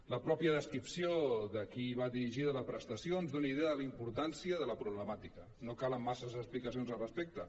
la mateixa descripció de a qui va dirigida la presta·ció ens dona idea de la importància de la problemàtica no calen massa explicacions al respecte